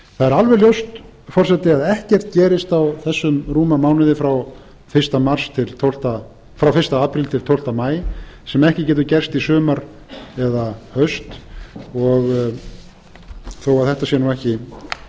það er alveg ljóst forseti að ekkert gerist á þessum rúma mánuði frá fyrsta apríl til tólfta maí sem ekki getur gerst í sumar eða haust þó þetta sé nú ekki